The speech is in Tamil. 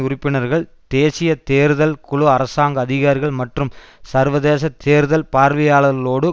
உறுப்பினர்கள் தேசிய தேர்தல் குழு அரசாங்க அதிகாரிகள் மற்றும் சர்வதேச தேர்தல் பார்வையாளர்களோடு